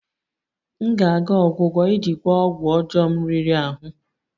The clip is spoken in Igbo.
M ga-aga ọgwụgwọ iji gwọọ ọgwụ ọjọọ m riri ahụ